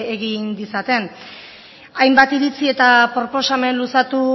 egin ditzaten hainbat iritzi eta proposamen luzatu